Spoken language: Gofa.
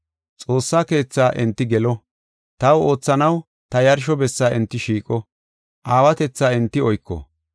Xoossa keethaa enti gelo; taw oothanaw ta yarsho bessa enti shiiqo; aawatetha enti oyko.